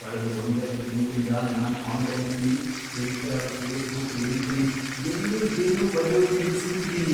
ಕಳ್ದ್ ಒಂದೆರ್ಡ್ ತಿಂಗ್ಳಿಂದ ನಾನ್ ಆನ್ಲೈನಲ್ಲಿ ಟ್ವಿಟರ್, ಫೇಸ್ಬುಕ್, ಲಿಂಕ್ಡ್ಇನ್ ಎಲ್ಲೂ ಏನ್ನೂ ಬರ್ಯೋದ್ನೇ ನಿಲ್ಸ್ಬಿಟಿದೀನಿ.